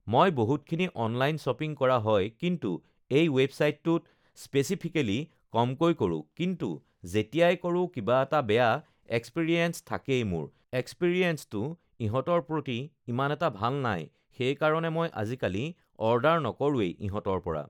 মই বহুতখিনি online shopping কৰা হয় কিন্তু এই ৱেবচাইটটোত স্পেচিফিকেলি কমকৈ কৰোঁ কিন্তু যেতিয়াই কৰোঁ কিবা এটা বেয়া এক্সপিৰিয়েঞ্চ থাকেই মোৰ এক্সপিৰিয়েঞ্চটো ইহঁতৰ প্ৰতি ইমান এটা ভাল নাই সেইকাৰণে মই আজিকালি অৰ্ডাৰ নকৰোঁৱেই ইহঁতৰ পৰা